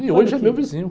E hoje é meu vizinho.